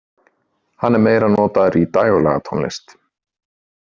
Hann er meira notaður í dægurlagatónlist.